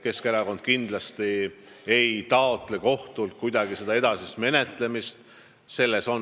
Keskerakond kindlasti ei taotle kohtult mingit edasist menetlemist.